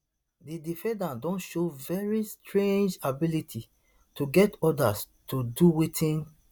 di defendat don show very strange ability to get odas to do wetin